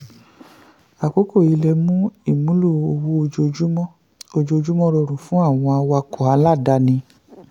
akókò yìí lè mú ìmúlò owó ojoojúmọ́ ojoojúmọ́ rọrùn fún awakọ̀ aláàdáni.